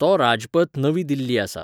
तो राजपथ नवी दिल्ली आसा